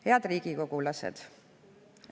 " Head riigikogulased!